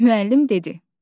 Müəllim dedi: